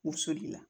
U soli la